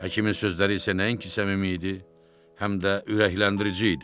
Həkimin sözləri isə nəinki səmimi idi, həm də ürəkləndirici idi.